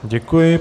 Děkuji.